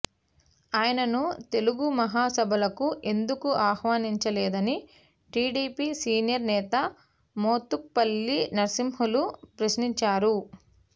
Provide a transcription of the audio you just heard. ఆయన్ను తెలుగు మహాసభలకు ఎందుకు ఆహ్వానించలేదని టీడీపీ సీనియర్ నేత మోత్కుపల్లి నరసింహులు ప్రశ్నించారు